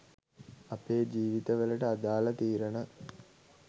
අපේ ජීවිත වලට අදාල තීරණ